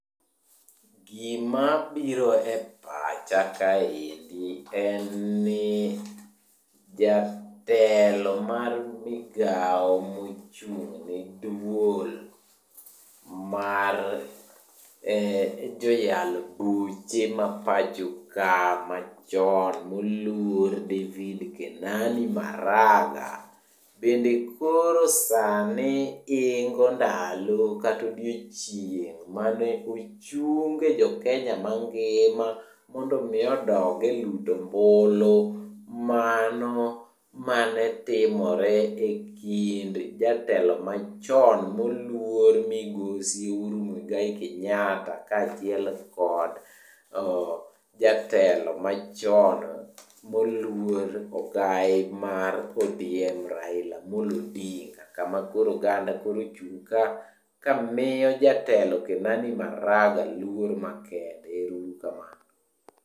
Gima biro e pacha kaendi en ni, jatelo mar migao mochung'n duol mar joyal buche mapacho ka machon moluor David Kenani Maraga. Bende koro sani ingo ndalo kata odiechieng mane ochunge jokenya mangima mondo omi odog e luto ombulu mano mane timore e kind jatelo machon moluor migosi Uhuru Muigai Kenyatta kaachiel kod, jatelo machon moluor, ogai mar ODM Raila Amollo Odinga kama koro oganda koro ochung' kamiyo jatelo Kenani Maraga luor makende. Ero uru kamano.